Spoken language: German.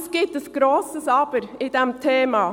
Es gibt jedoch ein grosses Aber bei diesem Thema: